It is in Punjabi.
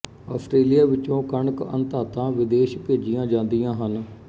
ਆਸਟ੍ਰੇਲੀਆ ਵਿਚੋਂ ਕਣਕ ਅਣ ਧਾਤਾਂ ਵਿਦੇਸ਼ ਭੇਜੀਆਂ ਜਾਂਦੀਆਂ ਹਨ